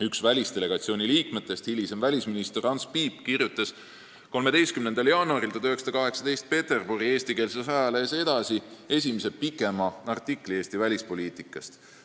Üks välisdelegatsiooni liikmetest, hilisem välisminister Ants Piip kirjutas 13. jaanuaril 1918 Peterburi eestikeelses ajalehes Edasi esimese pikema artikli Eesti välispoliitikast.